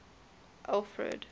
alfred